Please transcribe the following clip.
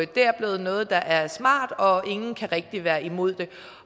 det er blevet noget der er smart og ingen kan rigtig være imod det